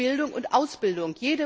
durch Bildung und Ausbildung.